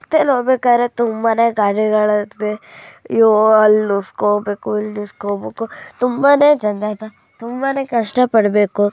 ರಸ್ತೆಯಲ್ಲಿ ಹೋಗ್ಬೇಕಾರೆ ತುಂಬಾನೇ ಗಾಡಿಗಳು ಇರ್ತದೆ ಅಯ್ಯೋ ಅಲ್.ಇಸ್ಕೊಬೇಕು ಇಲ್ ಇಸ್ಕೊಬೇಕು ತುಂಬಾನೇ ಜಂಜಾಟ ಕಷ್ಟ ಪಡಬೇಕು .